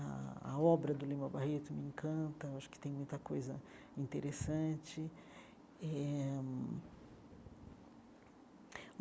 A a obra do Lima Barreto me encanta, acho que tem muita coisa interessante eh.